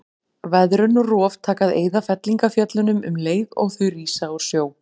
Veðrun og rof taka að eyða fellingafjöllunum um leið og þau rísa úr sjó.